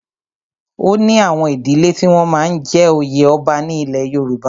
O ní àwọn ìdílẹ́ tí wọ́n máa ń jẹ oyè ọba ní ilẹ̀ Yorùbá.